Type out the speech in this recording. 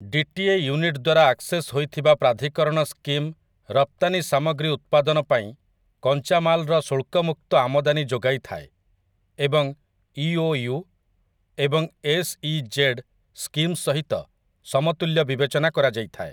DTA unit ଦ୍ୱାରା access ହୋଇଥିବା ପ୍ରାଧିକରଣ ସ୍କିମ୍ ରପ୍ତାନି ସାମଗ୍ରୀ ଉତ୍ପାଦନ ପାଇଁ କଞ୍ଚାମାଲର ଶୁଳ୍କମୁକ୍ତ ଆମଦାନୀ ଯୋଗାଇଥାଏ ଏବଂ ଇଓୟୁ ଏବଂ ଏସ୍ଇଜେଡ୍ ସ୍କିମ୍ ସହିତ ସମତୁଲ୍ୟ ବିବେଚନା କରାଯାଇଥାଏ ।